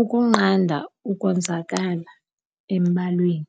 ukunqanda ukonzakala embalweni.